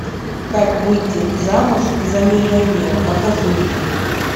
как выйти замуж за миллионера покажи мне